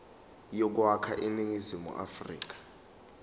yokwakha iningizimu afrika